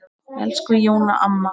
Elsku Jóna amma.